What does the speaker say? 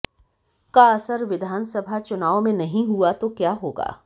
का असर विधानसभा चुनाव में नहीं हुआ तो क्या होगा